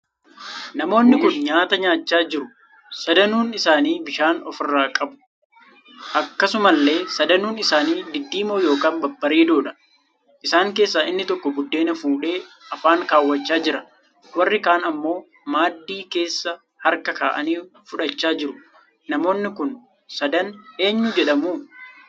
Namoonni kun nyaataa nyaachaa jiru sadanuun isaanii bishaan of biraa qabu akkasumallee sadanuun isaanii diddiimoo ykn babbareedoodha. Isaan keessaa inni tokko buddeen fuudhee Afaan kaawwachaa jira warri kan ammoo maaddii keessa harka kaa'anii fudhachaa jiru. Namoonni kun sadan eenyuu jedhamu